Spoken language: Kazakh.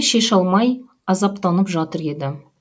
шеше алмай азаптанып жатыр еді